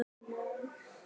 Varð þögul.